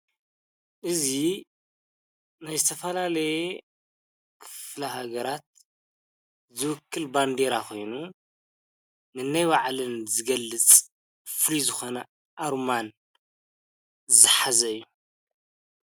እዙ ናይስተፋላለየ ክፍላሃገራት ዝውክል ባንዲይራ ኾይኑ ንነይ ባዕልን ዝገልጽ ፍሊዝኾነ ኣሩማን ዝሓዘ እዩ።